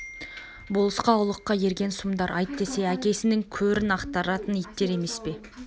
болысқа ұлыққа ерген сұмдар айт десе әкесінің көрін ақтаратын иттер емес пе